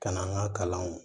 Ka na an ka kalanw